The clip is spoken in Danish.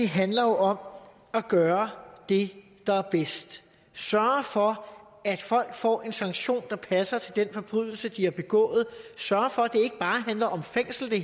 handler om at gøre det der er bedst sørge for at folk får en sanktion der passer til den forbrydelse de har begået sørge for at det hele ikke bare handler om fængsel